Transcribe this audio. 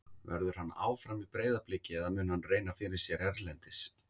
Verður hann áfram í Breiðabliki eða mun hann reyna fyrir sér erlendis?